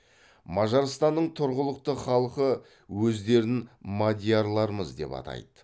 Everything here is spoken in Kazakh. мажарстанның тұрғылықты халқы өздерін мадиярлармыз деп атайды